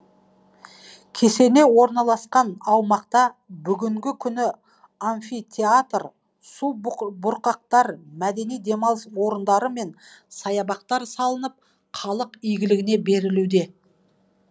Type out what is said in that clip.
кесене орналасқан аумақта бүгінгі күні амфитеатр су бұрқақтар мәдени демалыс орындары мен саябақтар салынып халық игілініне берілуде